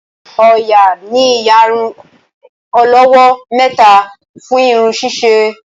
Oya ní iyàrun olówó méta fún irun ṣiṣe